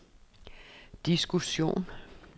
diskussion